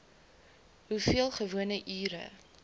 hoeveel gewone ure